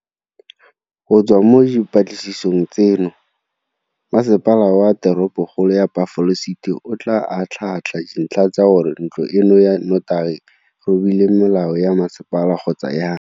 Go tswa mo dipatlisisong tseno, Masepala wa Teropokgolo ya Buffalo City o tla atlhaatlha dintlha tsa gore ntlo eno ya notagi e robile melao ya masepala kgotsa jang.